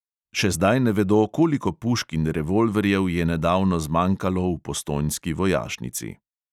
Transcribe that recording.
Še zdaj ne vedo, koliko pušk in revolverjev je nedavno zmanjkalo v postojnski vojašnici.